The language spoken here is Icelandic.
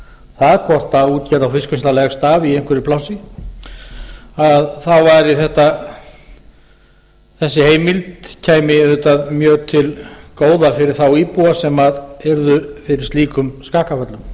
það hvort útgerð og fiskvinnsla leggst af í einhverju plássi að þá kæmi þessi heimild auðvitað mjög til góða fyrir þá íbúa sem yrðu fyrir slíkum skakkaföllum